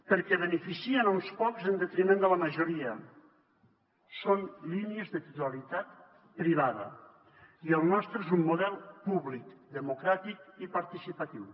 perquè en beneficien uns quants en detriment de la majoria són línies de titularitat privada i el nostre és un model públic democràtic i participatiu